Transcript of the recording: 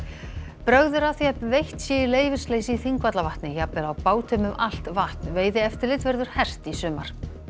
brögð eru að því að veitt sé í leyfisleysi í Þingvallavatni jafnvel á bátum um allt vatn veiðieftirlit verður hert í sumar